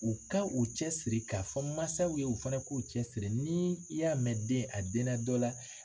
U ka u cɛ siri k'a fɔ mansaw ye u fana k'u cɛ siri ni i y'a mɛn den a denna dɔ la.